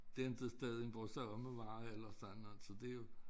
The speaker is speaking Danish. Det inte stedet hvor selvom nu var jeg ellers der noget tid det jo